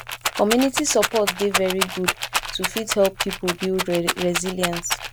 community support dey very good to fit help pipo build resilience